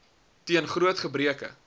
toon groot gebreke